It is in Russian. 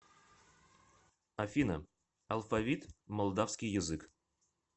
афина алфавит молдавский язык